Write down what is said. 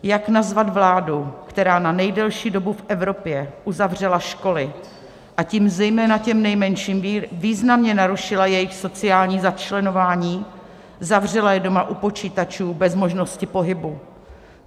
Jak nazvat vládu, která na nejdelší dobu v Evropě uzavřela školy, a tím zejména těm nejmenším významně narušila jejich sociální začleňování, zavřela je doma u počítačů, bez možnosti pohybu?